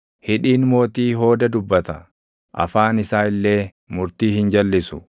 Hidhiin mootii hooda dubbata; afaan isaa illee murtii hin jalʼisu.